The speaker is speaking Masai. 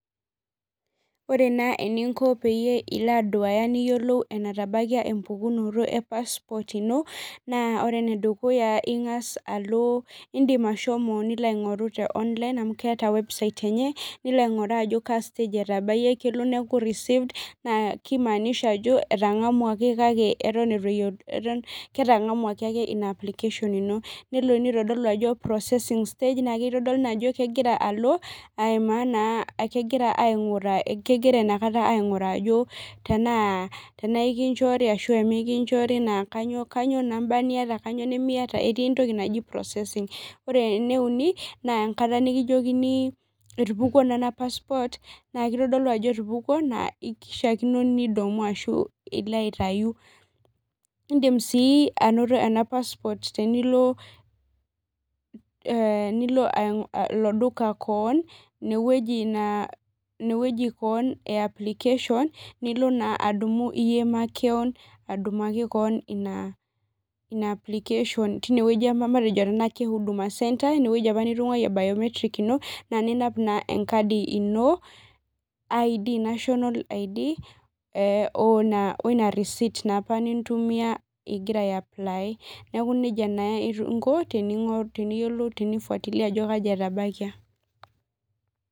Ore na eninko peyie iloaduaya niyiolou enatabakia empukunoto e passport ino na ore inedukuya ingasa alo indim ashomo nilo aingoru te online amu keeta website enye ainguraa ajo ka stage <etabawua ashu neaku received nakimaanisha ajo etangamwangaki kake eton itu ketangamwangaki ake ina application ino nelo nitodolu ajo processing state ajo kegira aimaa na kegira inakata ainguraa ajo tenaa enkichori tana mikinchori namba niata etii entoki naji processing ore eneuni na enkata nikijokini etupukuo nona [cs,] passport etupukuo na kishakino pidumu ashu pilo aitau indim sii ainoto ena passport tenilo e ilo duka keon inewueji keon e application nilo adumu iyie makeon adumaki keonina application tinewueji e huduma centre inewueji apa nitudungwo nitungayie biometric ino na ninap na enkadi ino id ID number ino weina receit apa nintumia ingira ai apply neaku nejia na inko tene fuatilia ajo kai etabakia